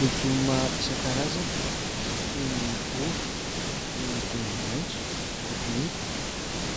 Legioma isan-karazany toy ny ovy, ny tongolo maitso, kotomila,